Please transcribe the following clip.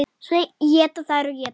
Svo éta þær og éta.